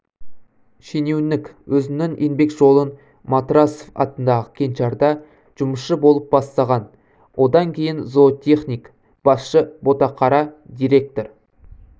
шенеунік өзінің еңбек жолын матрасов атындағы кеңшарда жұмысшы болып бастаған одан кейін зоотехник басшы ботақара директор